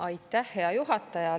Aitäh, hea juhataja!